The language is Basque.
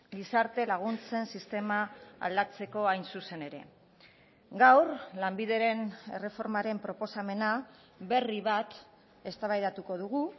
gizarte laguntzen sistema aldatzeko hain zuzen ere gaur lanbideren erreformaren proposamena berri bat eztabaidatuko dugu